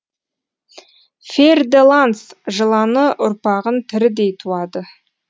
фер де ланс жыланы ұрпағын тірідей туады